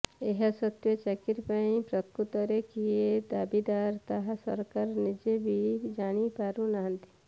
ଏହାସତ୍ତ୍ବେ ଚାକିରି ପାଇଁ ପ୍ରକୃତରେ କିଏ ଦାବିଦାର ତାହା ସରକାର ନିଜେ ବି ଜାଣିପାରୁ ନାହାନ୍ତି